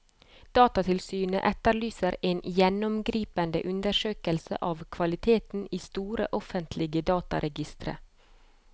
Datatilsynet etterlyser en gjennomgripende undersøkelse av kvaliteten i store offentlige dataregistre.